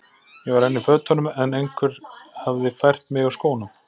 Ég var enn í fötunum en einhver hafði fært mig úr skónum.